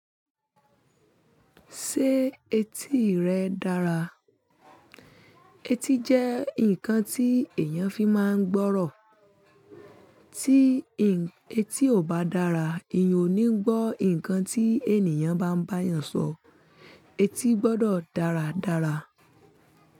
Ṣé etí rẹ dára? Etí jẹ́ nǹkan tí èèyàn fi máa ń gbọ́rọ̀. Tí etí ò bá dára, èyàn ò ní gbọ́ nǹkan tí ènìyàn bá ń bá èèyàn sọ. Etí gbọdọ̀ dáradára.